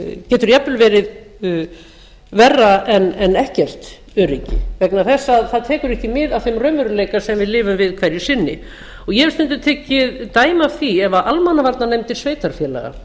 getur jafnvel verið verra en ekkert öryggi vegna þess að það tekur ekki mið af þeim raunveruleika sem við lifum við hverju sinni ég hef stundum tekið dæmi af því ef almannavarnir sveitarfélaga